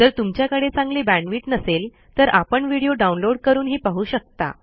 जर तुमच्याकडे चांगली बॅण्डविड्थ नसेल तर आपण व्हिडिओ डाउनलोड करूनही पाहू शकता